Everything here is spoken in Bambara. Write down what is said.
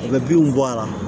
U bɛ binw bɔ ala